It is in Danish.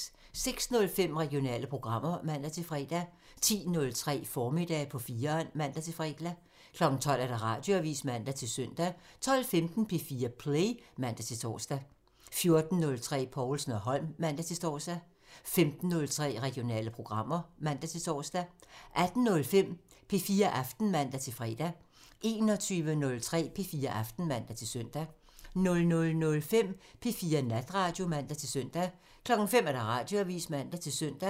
06:05: Regionale programmer (man-fre) 10:03: Formiddag på 4'eren (man-fre) 12:00: Radioavisen (man-søn) 12:15: P4 Play (man-tor) 14:03: Povlsen & Holm (man-tor) 15:03: Regionale programmer (man-tor) 18:05: P4 Aften (man-fre) 21:03: P4 Aften (man-søn) 00:05: P4 Natradio (man-søn) 05:00: Radioavisen (man-søn)